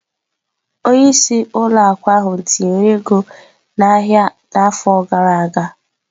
Onye isi ụlọ akụ ahụ tinyere ego n'ahịa n'afọ gara aga.